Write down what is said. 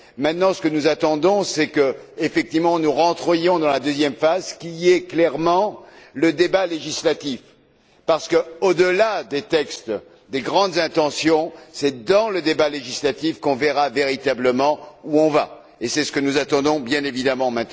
Maintenant, ce que nous attendons, c'est de rentrer effectivement dans la deuxième phase, qui est évidemment le débat législatif parce que, au delà des textes, des grandes intentions, c'est dans le débat législatif qu'on verra véritablement où on va, et c'est ce que nous attendons bien entendu.